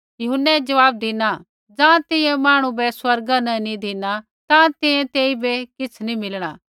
यूहन्नै ज़वाब धिना ज़ाँ तैंईंयैं मांहणु बै स्वर्गा न नी धिना ताँ तैंईंयैं तेइबै किछ़ नैंई मीलणा